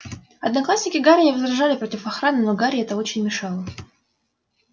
одноклассники гарри не возражали против охраны но гарри это очень мешало